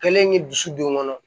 Kɛlen dusu don n kɔnɔ